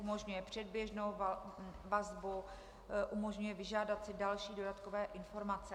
Umožňuje předběžnou vazbu, umožňuje vyžádat si další dodatkové informace.